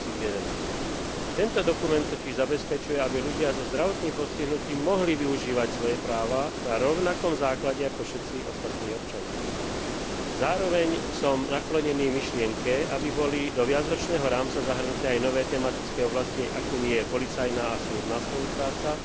2011. Tento dokument totiž zabezpečuje, aby ľudia so zdravotným postihnutím mohli využívať svoje práva na rovnakom základe ako všetci ostatní občania. Zároveň som naklonený myšlienke, aby boli do viacročného rámca zahrnuté aj nové tematické oblasti, akými sú policajná a súdna spolupráca